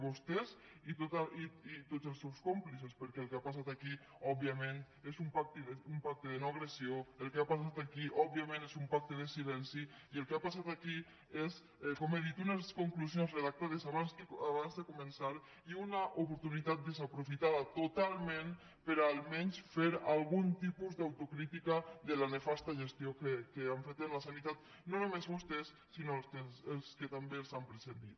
vostès i tots els seus còmplices perquè el que ha passat òbviament és un pacte de no agressió el que ha passat aquí òbviament és un pacte de silenci i el que ha passat aquí és com he dit unes conclusions redactades abans de començar i una oportunitat desaprofitada totalment per a almenys fer algun tipus d’autocrítica de la nefasta gestió que han fet en la sanitat no només vostès sinó els que també els han precedit